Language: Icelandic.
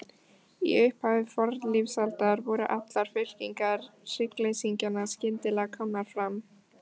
Í upphafi fornlífsaldar voru allar fylkingar hryggleysingjanna skyndilega komnar fram.